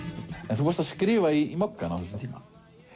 þú varst að skrifa í Moggann á þessum tíma